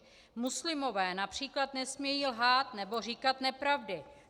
Muslimové například nesmějí lhát nebo říkat nepravdy.